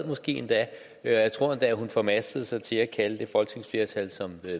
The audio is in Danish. måske endda jeg tror endda hun formastede sig til at kalde det folketingsflertal som